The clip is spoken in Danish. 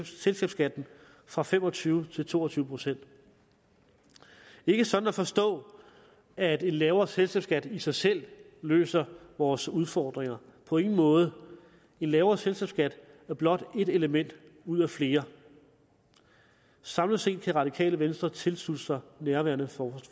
selskabsskatten fra fem og tyve til to og tyve procent ikke sådan at forstå at en lavere selskabsskat i sig selv løser vores udfordringer på ingen måde en lavere selskabsskat er blot et element ud af flere samlet set kan radikale venstre tilslutte sig nærværende